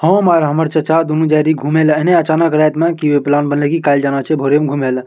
हम और हमर चाचा दोनों जा रहलिये घूमे ला एने अचानक रैत में की प्लान बनले की कल जाना छे घूमे ला।